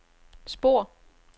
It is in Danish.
spor